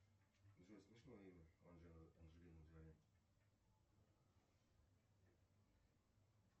джой смешное имя у анджелины джоли